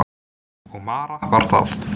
Og Mara var það.